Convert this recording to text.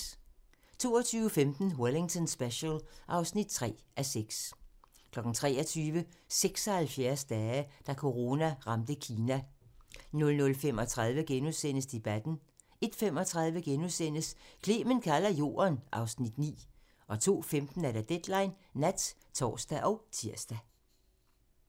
22:15: Wellington Special (3:6) 23:00: 76 dage: Da corona ramte Kina 00:35: Debatten * 01:35: Clement kalder Jorden (Afs. 9)* 02:15: Deadline Nat (tor og tir)